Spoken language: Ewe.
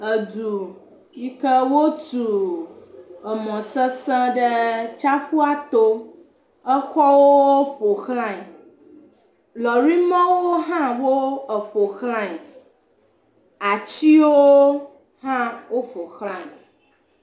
. Edu yike wó tu emɔ sese ɖe tsaƒuató exɔwo eƒo xlãe lɔri mɔwo hã wó eƒo xlãe atsiwo hã eƒo xlãe